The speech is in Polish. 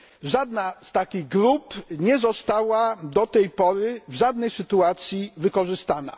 Żadna z takich grup nie została do tej pory w żadnej sytuacji wykorzystana.